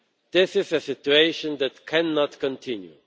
This is a situation that cannot continue.